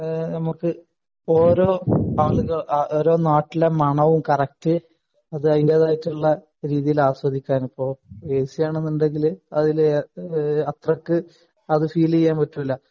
നമ്മക്ക് ഓരോ നാട്ടിലെ മണവും കറക്ട് അതിന്റേതായായിട്ടുള്ള രീതിയിൽ ആസ്വദിക്കാനും അത് എ സി ആണെങ്കിൽ അത് അതിൽ അത്രക്ക് ഫീൽ ചീയാൻ പറ്റൂല